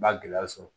Ba gɛlɛya sɔrɔ